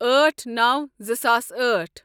أٹھ نوَ زٕ ساس أٹھ